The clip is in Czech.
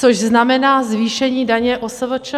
Což znamená zvýšení daně OSVČ.